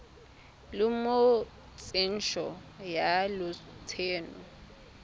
le mo tsentsho ya lotseno